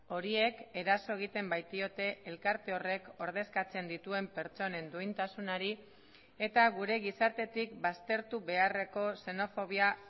horiek eraso egiten baitiote elkarte horrek ordezkatzen dituen pertsonen duintasunari eta gure gizartetik baztertu beharreko xenofobia